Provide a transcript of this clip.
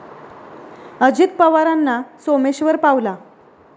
अजित पवारंना 'सोमेश्वर' पावला